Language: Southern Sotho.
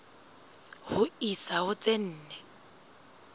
ho isa ho tse nne